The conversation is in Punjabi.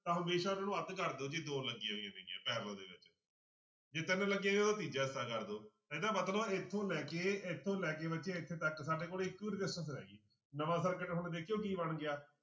ਤਾਂ ਹਮੇਸ਼ਾ ਉਹਨਾਂ ਨੂੰ ਅੱਧ ਕਰ ਦਓ ਜੇ ਦੋ ਲੱਗੀਆਂ ਹੋਈਆਂ ਨੇਗੀਆਂ parallel ਦੇ ਵਿੱਚ ਜੇ ਤਿੰਨ ਲੱਗੀਆਂ ਤੀਜਾ ਹਿੱਸਾ ਕਰ ਦਓ ਇਹਦਾ ਮਤਲਬ ਇੱਥੋਂ ਲੈ ਕੇ ਇੱਥੋਂ ਲੈ ਕੇ ਬੱਚੇ ਇੱਥੇ ਤੱਕ ਸਾਡੇ ਕੋਲ ਇੱਕੋ ਹੀ resistance ਰਹਿ ਗਈ ਨਵਾਂ circuit ਹੁਣ ਦੇਖਿਓ ਕੀ ਬਣ ਗਿਆ